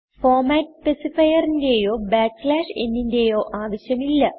format സ്പെസിഫയർന്റെയോ ന് ന്റെയോ ആവശ്യം ഇല്ല